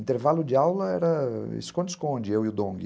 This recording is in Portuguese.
Intervalo de aula era esconde-esconde, eu e o Dong.